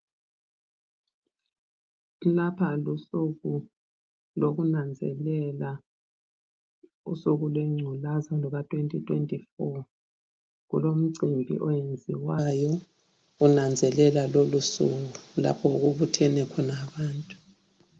Lapha lusuku lokunanzelela usuku lwengculaza luka 2024 kulomcimbi owenziwayo kunanzelelwa lolu suku lapha okubuthene khona abantu.